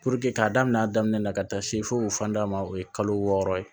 k'a daminɛ a daminɛ na ka taa se fo fan da ma o ye kalo wɔɔrɔ ye